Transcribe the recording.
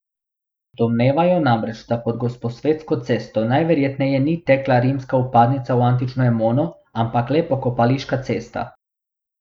Domnevajo namreč, da pod Gosposvetsko cesto najverjetneje ni tekla rimska vpadnica v antično Emono, ampak le pokopališka cesta.